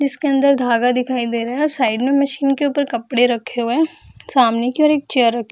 जिसके अंदर धागा दिखाई दे रहा है साइड में मशीन के ऊपर कपड़े रखे हुए हैं सामने की ओर एक चेयर र --